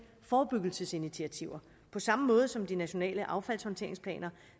forebyggelsesinitiativer på samme måde som de nationale affaldshåndteringsplaner